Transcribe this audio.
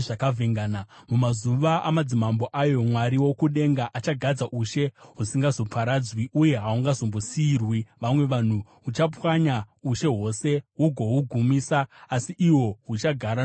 “Mumazuva amadzimambo ayo, Mwari wokudenga achagadza ushe husingazoparadzwi, uye hahungazombosiyirwi vamwe vanhu. Huchapwanya ushe hwose hugohugumisa, asi ihwo huchagara nokusingaperi.